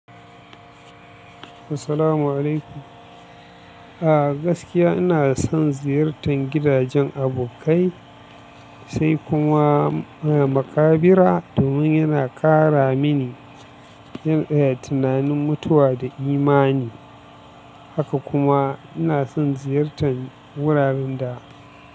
Assalamu'alaikum. A gaskiya ina son ziyartar gidajen abokai sai kuma maƙabira domin yana ƙara mini tunanin mutuwa da imani. Haka kuma ina son ziyartar wuraren da.